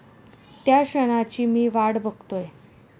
त्या क्षणाची मी वाट बघतोय.